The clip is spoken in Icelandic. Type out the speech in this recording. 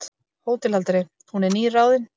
HÓTELHALDARI: Hún er nýráðin.